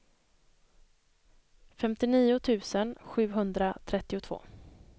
femtionio tusen sjuhundratrettiotvå